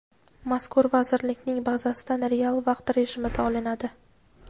mazkur vazirlikning bazasidan real vaqt rejimida olinadi.